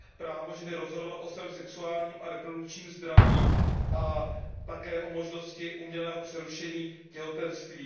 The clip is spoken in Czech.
o právu ženy rozhodovat o svém sexuálním a reprodukčním zdraví a také o možnosti umělého přerušení těhotenství.